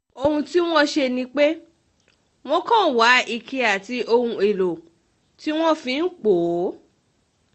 ohun tí wọ́n ń ṣe um ni pé wọ́n kàn wá um ike àti ohun èèlò tí wọ́n fi ń pọ̀ ọ́